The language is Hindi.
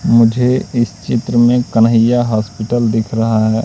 मुझे इस चित्र में कन्हैय्या हॉस्पिटल दिख रहा है।